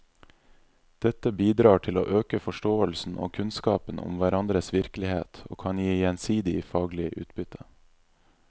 Dette bidrar til å øke forståelsen og kunnskapen om hverandres virkelighet og kan gi gjensidig faglig utbytte.